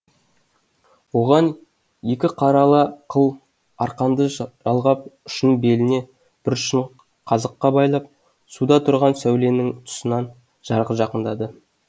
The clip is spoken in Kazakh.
оған екі қарала қыл арқанды жалғап ұшын беліне бір ұшын қазыққа байлап суда тұрған сәуленің тұсынан жарға жақындады